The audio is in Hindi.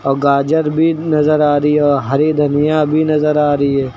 और गाजर भी नजर आ रही है और हरी धनिया भी नजर आ रही है।